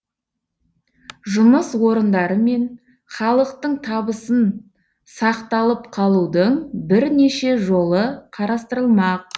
жұмыс орындары мен халықтың табысын сақталып қалудың бірнеше жолы қарастырылмақ